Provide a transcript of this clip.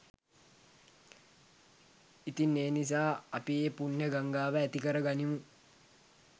ඉතින් ඒ නිසා අපි ඒ පුණ්‍ය ගංගාව ඇති කරගනිමු